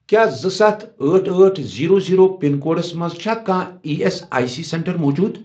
کیٛاہ زٕ، ستھَ، أٹھ، أٹھ، زیٖرو، زیٖرو، پِن کوڈس مَنٛز چھا کانٛہہ E S I C centre موٗجوٗد۔